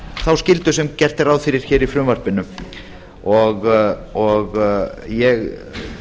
þá skyldu sem er gert ráð fyrir hér í frumvarpinu og ég